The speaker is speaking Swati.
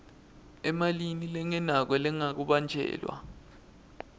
emalini lengenako lengabanjelwa